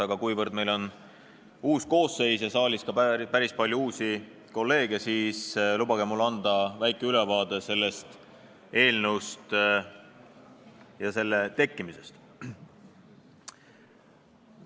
Aga kuivõrd siin saalis on Riigikogu uus koosseis ja siin on päris palju uusi kolleege, siis lubage mul anda väike ülevaade sellest seadusest ja selle tekkimisest.